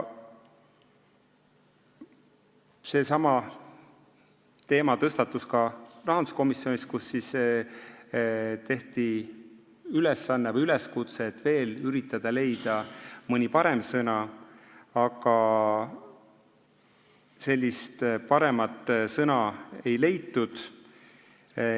Seesama teema tõstatus ka rahanduskomisjonis, kus tehti üleskutse üritada leida mõni parem sõna, aga paremat sõna ei leitud.